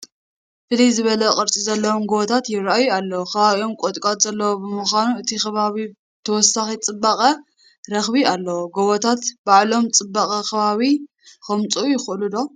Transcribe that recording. ፍልይ ዝበለ ቅርፂ ዘለዎም ጐቦታት ይርአዩ ኣለዉ፡፡ ከባቢኦም ቁጥቋጦ ዘለዎ ብምዃኑ እቲ ከባቢ ተወሳኺ ፅባቐ ረኺቡ ኣሎ፡፡ ጐቦታት ባዕሎም ፅባቐ ከባቢ ከምፅኡ ይኽእሉ ዶ?